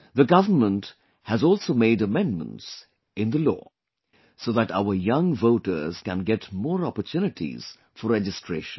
The government has also made amendments in the law so that our young voters can get more opportunities for registration